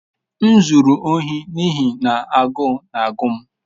M zuru ohi n'ihi na agụụ na-agụ m.